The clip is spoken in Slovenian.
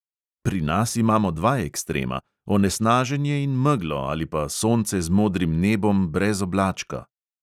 Pri nas imamo dva ekstrema – onesnaženje in meglo ali pa sonce z modrim nebom brez oblačka.